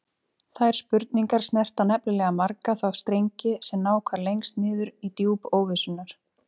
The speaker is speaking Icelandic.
Þær spurningar snerta nefnilega marga þá strengi sem ná hvað lengst niður í djúp óvissunnar.